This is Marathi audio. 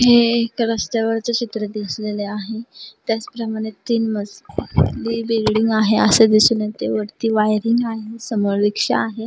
हे एक रस्त्यावरच चित्र दिसलेले आहे त्याचप्रमाणे तिथे तीन मजली बिल्डिंग आहे असे दिसून येते वरती वायरिंग आहे समोर रिक्षा आहे.